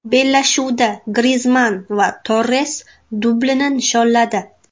Bellashuvda Grizmann va Torres dublini nishonladi.